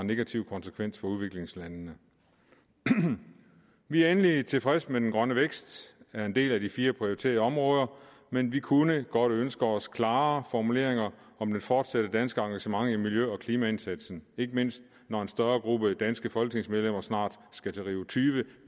negative konsekvenser for udviklingslandene vi er endelig tilfredse med at den grønne vækst er en del af de fire prioriterede områder men vi kunne godt ønske os klarere formuleringer om det fortsatte danske engagement i miljø og klimaindsatsen ikke mindst når en større gruppe af danske folketingsmedlemmer snart skal til rio20